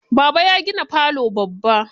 Baba ya gina falo babba.